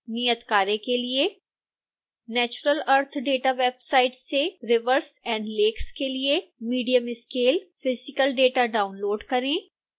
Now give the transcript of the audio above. नियतकार्य के लिए